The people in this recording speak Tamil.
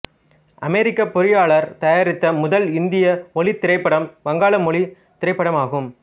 அமெரிக்க பொறியியலாளர் தயாரித்த முதல் இந்திய ஒலித் திரைப்படமும் வங்காள மொழி திரைப்படம் ஆகும்